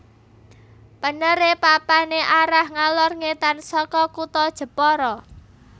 Penere papane arah ngalor ngetan saka kutha Jepara